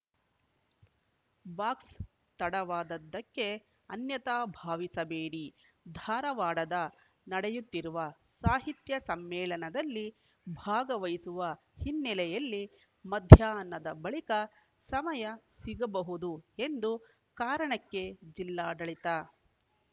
ಬಾಕ್ಸ್‌ತಡವಾದ್ದಕ್ಕೆ ಅನ್ಯತಾ ಭಾವಿಸಬೇಡಿ ಧಾರವಾಡದ ನಡೆಯುತ್ತಿರುವ ಸಾಹಿತ್ಯ ಸಮ್ಮೇಳನದಲ್ಲಿ ಭಾಗವಹಿಸುವ ಹಿನ್ನೆಲೆಯಲ್ಲಿ ಮಧ್ಯಾಹ್ನದ ಬಳಿಕ ಸಮಯ ಸಿಗಬಹುದು ಎಂದು ಕಾರಣಕ್ಕೆ ಜಿಲ್ಲಾಡಳಿತ